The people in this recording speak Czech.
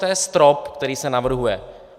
To je strop, který se navrhuje.